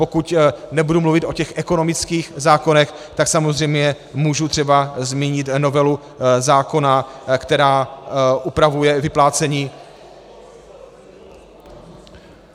Pokud nebudu mluvit o těch ekonomických zákonech, tak samozřejmě mohu např. zmínit novelu zákona, která upravuje vyplácení...